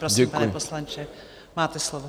Prosím, pane poslanče, máte slovo.